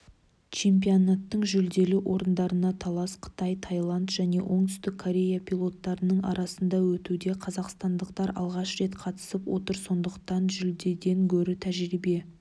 чемпионаттың жүлделі орындарына талас қытай тайланд және оңтүстік корея пилоттарының арасында өтуде қазақстандықтар алғаш рет қатысып отыр сондықтан жүлдеден гөрі тәжірибе